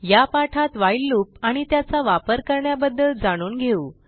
या पाठात while loop आणि त्याचा वापर करण्याबद्दल जाणून घेऊ